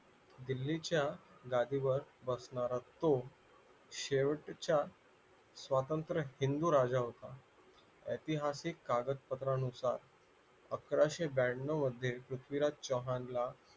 दिल्लीच्या गादीवर बसणारा तो शेवटचा स्वतंत्र हिंदू राजा होता ऐतिहासिक कागदपत्रानुसार अकाराशे ब्यानव मध्ये पृथ्वीराज चव्हाणला